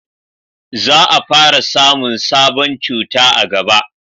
za a fara samun sabon cuta a gaba